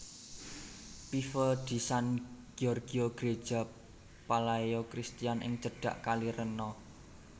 Pieve di San Giorgio Greja Palaeo Christian ing cedhak Kali Reno